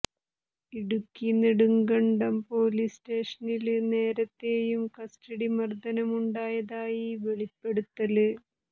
Idukki Nedumkandam police സ്റ്റേഷനില് നേരത്തെയും custody മര്ദനമുണ്ടായതായി വെളിപ്പെടുത്തല്